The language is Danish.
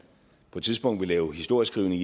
på et tidspunkt vil lave historieskrivning